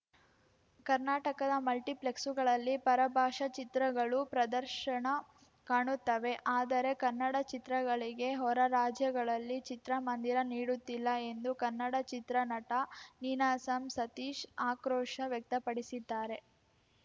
ಕರ್ನಾಟಕದ ಮಲ್ಟಿಪ್ಲೆಕ್ಸುಗಳಲ್ಲಿ ಪರಭಾಷಾ ಚಿತ್ರಗಳು ಪ್ರದರ್ಶನ ಕಾಣುತ್ತವೆ ಆದರೆ ಕನ್ನಡ ಚಿತ್ರಗಳಿಗೆ ಹೊರರಾಜ್ಯಗಳಲ್ಲಿ ಚಿತ್ರಮಂದಿರ ನೀಡುತ್ತಿಲ್ಲ ಎಂದು ಕನ್ನಡ ಚಿತ್ರನಟ ನೀನಾಸಂ ಸತೀಶ್‌ ಆಕ್ರೋಶ ವ್ಯಕ್ತಪಡಿಸಿದ್ದಾರೆ